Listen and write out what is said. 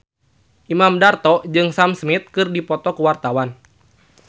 Imam Darto jeung Sam Smith keur dipoto ku wartawan